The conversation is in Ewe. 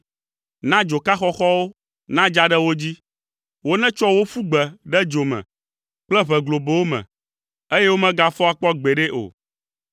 Na dzoka xɔxɔwo nadza ɖe wo dzi; wonetsɔ wo ƒu gbe ɖe dzo me kple ʋe globowo me, eye womegafɔ akpɔ gbeɖe o.